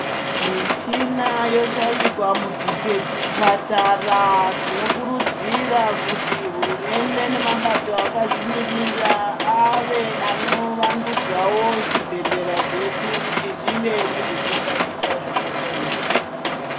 Michina yoshaikwa muzvipatara tinokurudzira kuti hurumende nemabato akazvimirira ave anovandudzavo zvibhedhlera zvedu kuti zvive nezvekushandisa zvakakwana.